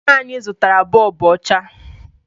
Nna ya zụtara bọọbụ ọcha